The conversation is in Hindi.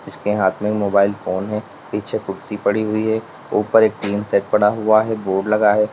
इसके हाथ में मोबाइल फोन है पीछे कुर्सी पड़ी हुई है ऊपर एक टीन सेट पड़ा हुआ है बोर्ड लगा है।